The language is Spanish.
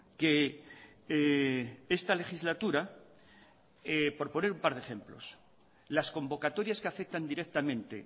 que esta legislatura por poner un par de ejemplos las convocatorias que afectan directamente